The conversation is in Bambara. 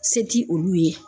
Se ti olu ye.